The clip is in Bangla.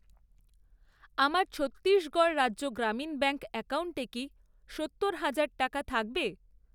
আমার ছত্তিশগড় রাজ্য গ্রামীণ ব্যাঙ্ক অ্যাকাউন্টে কি সত্তর হাজার টাকা থাকবে?